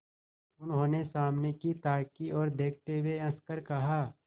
उन्होंने सामने की ताक की ओर देखते हुए हंसकर कहा